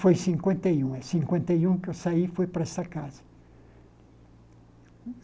Foi em cinquenta e um em cinquenta e um que eu saí fui para essa casa.